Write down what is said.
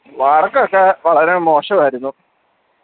work ഒക്കെ വളരെ മോശമായിരുന്നു